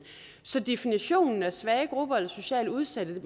så definitionen af svage grupper eller socialt udsatte